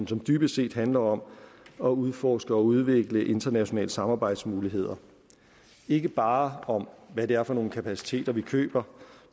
som dybest set handler om at udforske og udvikle internationale samarbejdsmuligheder ikke bare om hvad det er for nogle kapaciteter vi køber